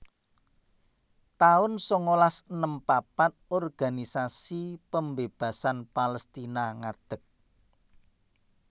taun sangalas enem papat Organisasi Pembebasan Palestina ngadeg